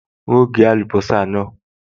N óò gé àlùbọ́sà náà